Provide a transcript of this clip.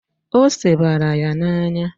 Ose bara ya n'anya.